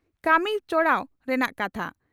ᱠᱟᱹᱢᱤ ᱪᱚᱲᱟᱣ ᱨᱮᱱᱟᱜ ᱠᱟᱛᱷᱟ ᱾